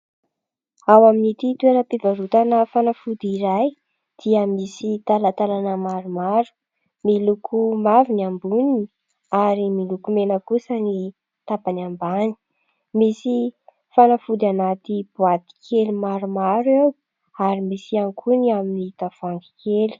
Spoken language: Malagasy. Ao amin' ity toeram-pivarotana fanafody iray dia misy talatalana maromaro. Miloko mavo ny amboniny ary miloko mena kosa ny tapany ambany. Misy fanafody anaty boaty kely maromaro eo ary misy ihany koa ny amin' ny tavoangy kely.